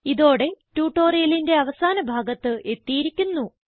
ഇതോടെ ട്യൂട്ടോറിയലിന്റെ അവസാന ഭാഗത്ത് എത്തിയിരിക്കുന്നു